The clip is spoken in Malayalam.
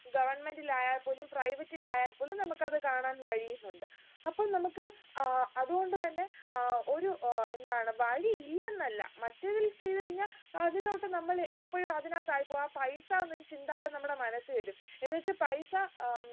നമ്മക്ക് അത് കാണാൻ കഴിയുന്നുണ്ട് അപ്പോൾ നമ്മക്ക് ആഹ് അത് കൊണ്ട് തന്നെ ആഹ് ഒരു ആഹ് എന്താണ് വഴിയില്ലെന്നല്ല മറ്റേതിൽ ചെയ്ത് കഴിഞ്ഞാ അതിലോട്ട് നമ്മള് ഇപ്പോഴും അതിനകത്ത് ആയിപ്പോകും ആ പൈസ എന്നൊരു ചിന്താഗതി നമ്മുടെ മനസ്സിൽ വരും എന്ന് വെച്ച് പൈസ ഏർ ഉം